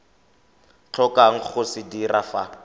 tlhokang go se dira fa